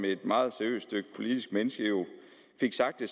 et meget seriøst politisk menneske fik sagt det